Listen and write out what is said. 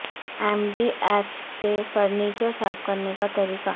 M D F سے furniture صاف کرنے کا طریقہ